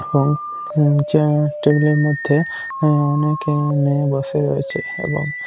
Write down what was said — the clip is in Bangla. এবং টেবিল রয়েছে এবং নিচে টেবিল এর মধ্যে অনেকেই বসে রয়েছে--